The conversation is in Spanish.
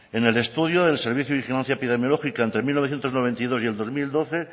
en el estudio del servicio de vigilancia epidemiológica entre mil novecientos noventa y dos y el dos mil doce